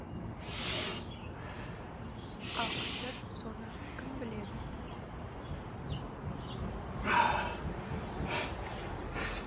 ал қазір соны кім біледі